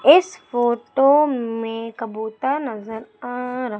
इस फोटो में कबूतर नजर आ रह--